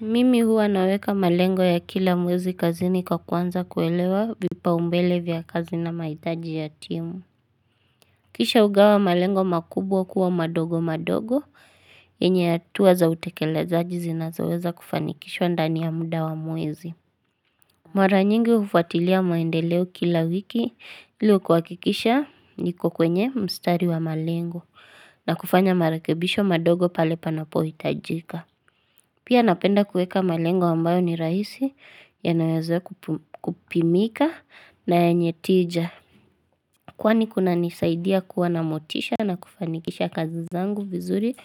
Mimi huwa naweka malengo ya kila mwezi kazini kwa kuanza kuelewa vipaumbele vya kazi na mahitaji ya timu. Kisha ugawa malengo makubwa kuwa madogo madogo, yenye hatua za utekelezajizi zinazoweza kufanikishwa ndani ya muda wa mwezi. Mwara nyingi hufuatilia mandeleo kila wiki ili kwakikisha niko kwenye mstari wa malengo na kufanya marekebisho madogo pale panapo hitajika. Pia napenda kueka malengo ambayo ni rahisi yanaweza kupimika na yenye tija. Kwani kuna nisaidia kuwa na motisha na kufanikisha kazi zangu vizuri